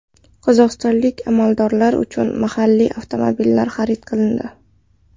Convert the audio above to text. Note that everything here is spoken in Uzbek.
Qozog‘istonlik amaldorlar uchun mahalliy avtomobillar xarid qilindi.